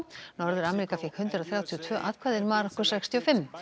norður Ameríka fékk hundrað þrjátíu og tvö atkvæði en Marokkó sextíu og fimm